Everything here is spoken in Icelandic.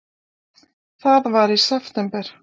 Það var í september.